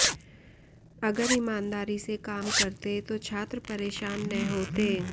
अगर ईमानदारी से काम करते तो छात्र परेशान न होते